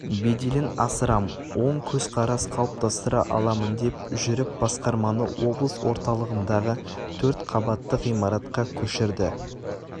беделін асырам оң көзқарас қалыптастыра аламын деп жүріп басқарманы облыс орталығындағы төрт қабатты ғимаратқа көшірді